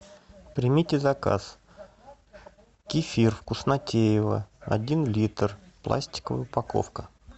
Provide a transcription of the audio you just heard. примите заказ кефир вкуснотеево один литр пластиковая упаковка